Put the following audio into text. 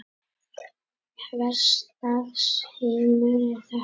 Hvers lags heimur er þetta?